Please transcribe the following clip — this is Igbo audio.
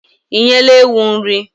Ị nyela ewu nri?